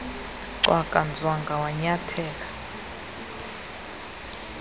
cwaka nzwanga wanyathela